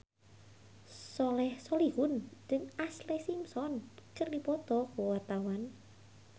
Soleh Solihun jeung Ashlee Simpson keur dipoto ku wartawan